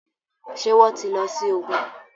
ṣe wón tí ló sì ògún?